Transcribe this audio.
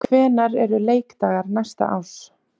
Hvenær eru leikdagar næsta árs?